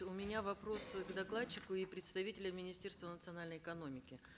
у меня вопрос э к докладчику и представителю министерства национальной экономики